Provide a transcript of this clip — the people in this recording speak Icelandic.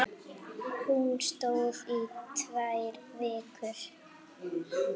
Hún stóð í tvær vikur.